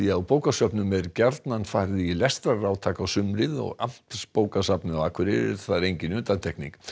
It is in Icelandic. á bókasöfnum er gjarnan farið í lestrarátak á sumrin Amtsbókasafnið á Akureyri er þar engin undantekning